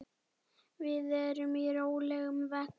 Við erum í rólegum vexti.